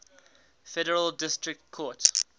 federal district court